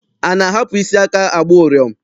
A na-ahapụ isi aka agba ụrịọm?